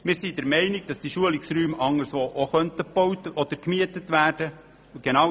Wir sind der Meinung, dass die Schulungsräume auch andernorts gebaut oder gemietet werden können.